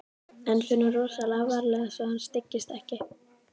En förum rosalega varlega svo að hann styggist ekki.